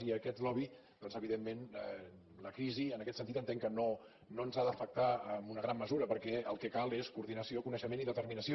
i aquest lobby doncs evidentment la crisi en aquest sentit entenc que no ens ha d’afectar en una gran mesura perquè el que cal és coordinació coneixement i determinació